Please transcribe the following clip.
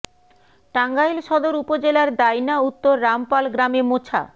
টাঙ্গাইল সদর উপজেলার দাইন্যা উত্তর রাম পাল গ্রামে মোছা